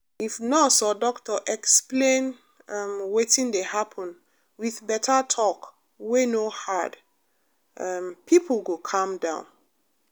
if nurse or doctor explain um wetin dey happen with better talk wey no hard um people go calm down.